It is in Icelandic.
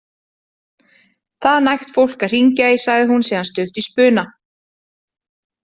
Það er nægt fólk að hringja í, sagði hún síðan stutt í spuna.